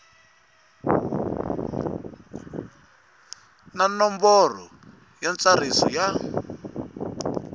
na nomboro ya ntsariso ya